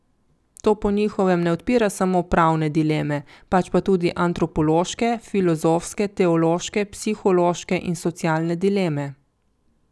To po njihovem ne odpira samo pravne dileme, pač pa tudi antropološke, filozofske, teološke, psihološke in socialne dileme.